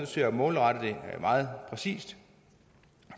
til at målrette det meget præcist